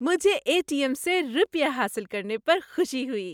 مجھے A T M سے روپیے حاصل کرنے پر خوشی ہوئی۔